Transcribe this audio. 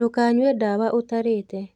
Ndũkanyue ndawa ũtarĩte.